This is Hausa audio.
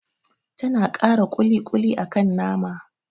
Tana kara ƙuli-ƙuli akan nama